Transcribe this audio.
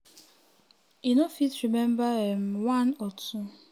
e no fit remember um one or two